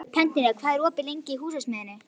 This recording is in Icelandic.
Bentína, hvað er lengi opið í Húsasmiðjunni?